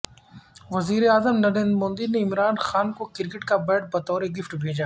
وزیر اعظم نریندر مودی نے عمران خان کو کرکٹ کا بیٹ بطور گفٹ بھیجا